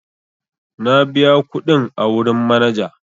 Na biya kuɗin a wurin manaja.